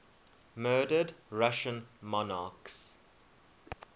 murdered russian monarchs